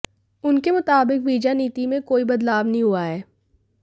उनके मुताबिक वीजा नीति में कोई बदलाव नहीं हुआ है